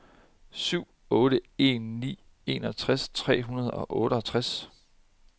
syv otte en ni enogtres tre hundrede og otteogtres